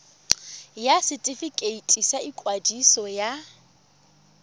ya setefikeiti sa ikwadiso ya